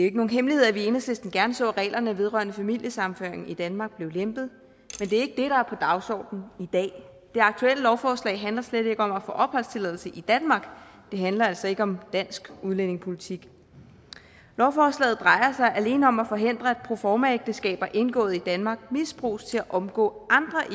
ikke nogen hemmelighed at vi i enhedslisten gerne så at reglerne vedrørende familiesammenføring i danmark blev lempet men det er er på dagsordenen i dag det aktuelle lovforslag handler slet ikke om at få opholdstilladelse i danmark det handler altså ikke om dansk udlændingepolitik lovforslaget drejer sig alene om at forhindre at proformaægteskaber indgået i danmark misbruges til at omgå